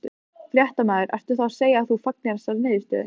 Fréttamaður: Ertu þá að segja að þú fagnir þessari niðurstöðu?